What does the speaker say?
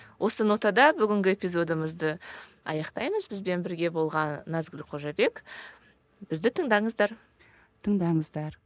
осы нотада бүгінгі эпизодымызды аяқтаймыз бізбен бірге болған назгүл қожабек бізді тыңдаңыздар тыңдаңыздар